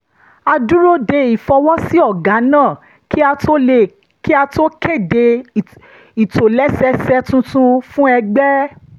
a dúró de ìfọwọ́sí ọ̀gá náà kí a tó kéde ìtòlẹ́sẹẹsẹ tuntun fún ẹgbẹ́